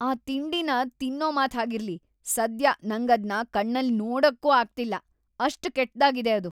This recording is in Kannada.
ಆ ತಿಂಡಿನ ತಿನ್ನೋ ಮಾತ್‌ ಹಾಗಿರ್ಲಿ ಸದ್ಯ ನಂಗದ್ನ ಕಣ್ಣಲ್ಲಿ ನೋಡಕ್ಕೂ ಆಗ್ತಿಲ್ಲ.. ಅಷ್ಟ್‌ ಕೆಟ್ದಾಗಿದೆ ಅದು.